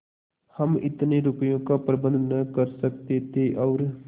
हम इतने रुपयों का प्रबंध न कर सकते थे और